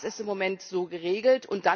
Das ist im Moment so geregelt.